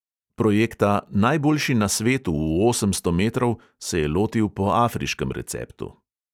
Projekta "najboljši na svetu v osemsto metrov" se je lotil po afriškem receptu.